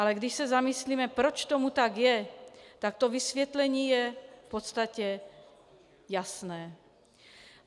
Ale když se zamyslíme, proč tomu tak je, tak to vysvětlení je v podstatě jasné.